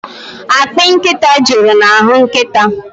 Akpị nkịta juru n'ahụ nkịta m.